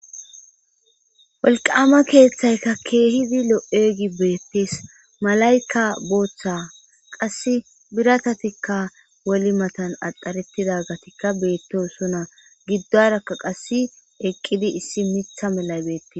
Wolqaama keeththay kihizi lo'iyaage beettes malayka booththa qassi biratatikka holi matan axxaretizagetikka beettosona gidduwarakka qassi eqqidi issi miththa malay beettes.